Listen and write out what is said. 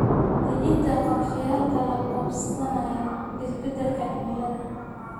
Dejinta qorshayaal la qabsanaya isbeddelka cimilada.